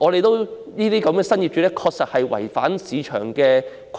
然而，這些新業主確實違反了市場規律。